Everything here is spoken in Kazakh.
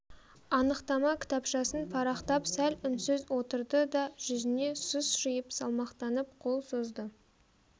анықтама кітапшасын парақтап сәл үнсіз отырды да жүзкне сұс жиып салмақтанып қол созды